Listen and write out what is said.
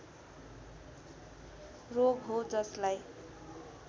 रोग हो जसलाई